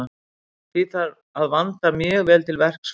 Því þarf að vanda mjög vel til verks frá upphafi.